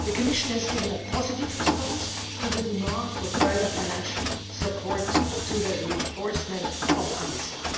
The Commission has given a positive response to the demand for further financial support to the reinforcement of